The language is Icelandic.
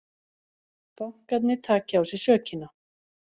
Bankarnir taki á sig sökina